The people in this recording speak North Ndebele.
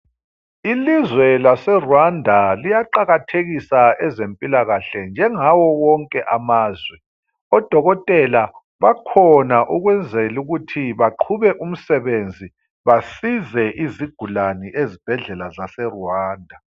Ilizwe laseRwanda liyaqakathekisa ezempilakhle njengawo wonke amazwe. Odokotela bakhona ukwenzela ukuthi baqhube umsebenzi basize izigulane ezibhedlela zaseRwanda.